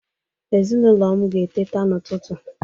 Ezinụlọ m ga-eteta n'ụtụtụ.